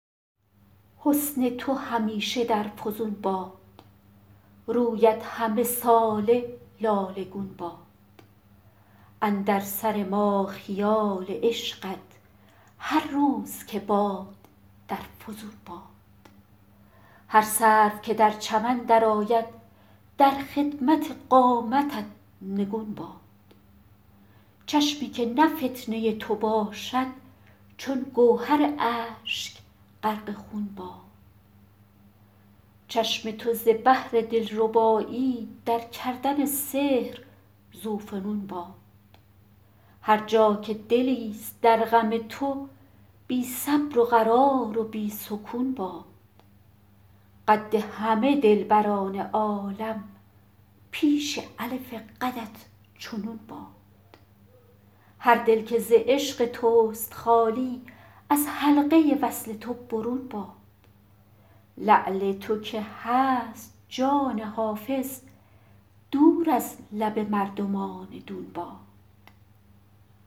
حسن تو همیشه در فزون باد رویت همه ساله لاله گون باد اندر سر ما خیال عشقت هر روز که باد در فزون باد هر سرو که در چمن درآید در خدمت قامتت نگون باد چشمی که نه فتنه تو باشد چون گوهر اشک غرق خون باد چشم تو ز بهر دلربایی در کردن سحر ذوفنون باد هر جا که دلیست در غم تو بی صبر و قرار و بی سکون باد قد همه دلبران عالم پیش الف قدت چو نون باد هر دل که ز عشق توست خالی از حلقه وصل تو برون باد لعل تو که هست جان حافظ دور از لب مردمان دون باد